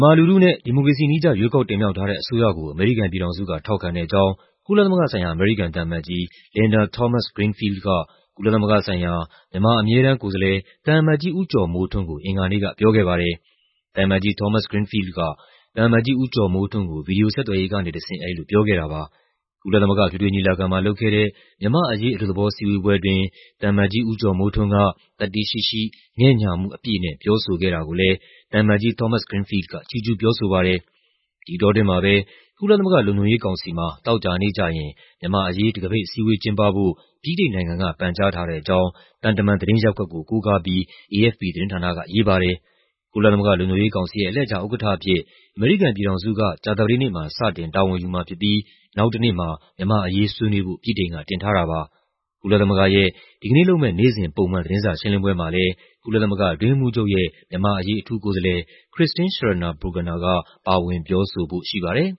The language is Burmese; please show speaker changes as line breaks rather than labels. မာလူထုနဲ့ ဒီမိုကရေစီနည်းကျ ရွေးကောက်တင်မြှောက်ထားတဲ့ အစိုးရကို အမေရိကန်ပြည်ထောင်စုက ထောက်ခံတဲ့အကြောင်း ကုလသမဂ္ဂဆိုင်ရာ အမေရိကန်သံအမတ်ကြီး Linda Thomas-Greenfield က ကုလသမဂ္ဂဆိုင်ရာ မြန်မာ အမြဲတမ်း သံအမတ်ကြီး ဦးကျော်မိုးထွန်းကို အင်္ဂါနေ့က ပြောခဲ့ပါတယ်။ သံအမတ်ကြီး Thmoas-Greenfiled က သံအမတ်ကြီး ဦးကျော်မိုးထွန်းကို ဗွီဒီယိုဆက်သွယ်ရေးကနေတဆင့် အဲဒီလိုပြောခဲ့တာပါ။ ကုလသမဂ္ဂ အထွေထွေညီလာခံမှာ လုပ်ခဲ့တဲ့ မြန်မာ့အရေး အလွတ်သဘော အစည်းအဝေးပွဲအတွင်း သံအမတ်ကြီး ဦးကျော်မိုးထွန်းက သတ္တိရှိရှိ၊ ငဲ့ညှာမှုအပြည့်နဲ့ ပြောဆိုခဲ့တာကိုလည်း သံအမတ်ကြီး Thomas-Greenfield က ချီးကျူးပြောဆိုပါတယ်။ ဒီအတောအတွင်းမှာပဲ ကုလသမဂ္ဂလုံခြုံရေးကောင်စီမှာ သောကြာနေ့ကျရင်မြန်မာ့အရေး တံခါးပိတ်အစည်းအဝေးကျင်းပဖို့ ဗြိတိန်နိုင်ငံက ပန်ကြားထားတဲ့အကြောင်း သံတမန်သတင်းရပ်ကွက်ကို ကိုးကားပြီး AFP သတင်းဌာနက ရေးပါတယ်။ ကုလသမဂ္ဂ လုံခြုံရေးကောင်စီရဲ့ အလှည့်ကျဥက္ကဋ္ဌအဖြစ် အမေရိကန်ပြည်ထောင်စုက ကြာသပတေးနေ့မှာ စတင် တာဝန်ယူမှာဖြစ်ပြီး နောက်တနေ့မှာ မြန်မာ့အရေးဆွေးနွေးဖို့ ဗြိတိန်က တင်ထားတာပါ။ ကုလသမဂ္ဂရဲ့ ဒီကနေ့လုပ်မယ့် နေ့စဉ် ပုံမှန် သတင်းစာရှင်းလင်းပွဲမှာလည်း ကုလသမဂ္ဂအတွင်းရေးမှူးချုပ်ရဲ့ မြန်မာ့အရေးအထူးကိုယ်စားလှယ် Christine Scharner
Burgener က ပါဝင်ပြောဆိုဖို့ရှိပါတယ်